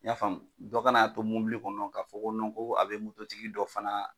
I y'a faamuya dɔ kan'a to mɔbili kɔnɔ k'a fɔ ko nɔn ko a be mototigi dɔ fana